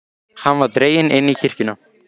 Hann var dreginn inn í kirkjuna.